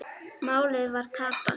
Málið var tapað.